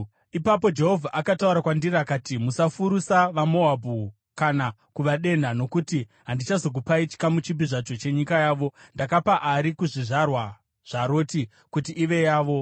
Ipapo Jehovha akataura kwandiri, akati, “Musafurusa vaMoabhu kana kuvadenha, nokuti handizokupai chikamu chipi zvacho chenyika yavo. Ndakapa Ari kuzvizvarwa zvaRoti kuti ive yavo.”